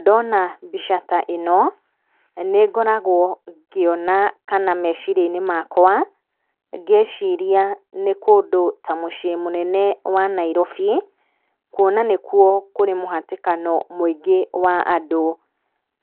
Ndona mbica ta ĩno, nĩngoragwo ngĩona kana meciria-inĩ makwa, ngĩciria nĩ kũndũ ta mũciĩ mũnene wa Nairobi. Kuona nĩkuo kũrĩ mũhatĩkano mũingĩ wa andũ.